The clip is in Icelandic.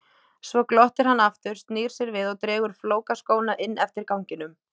Svo glottir hann aftur, snýr sér við og dregur flókaskóna inn eftir ganginum.